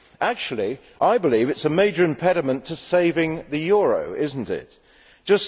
Actually, I believe it is a major impediment to saving the euro, is it not?